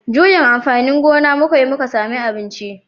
Juyin amfanin gona muka yi muka samu abinci